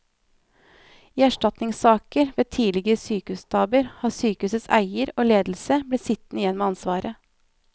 I erstatningssaker ved tidligere sykehustabber har sykehusets eier og ledelse blitt sittende igjen med ansvaret.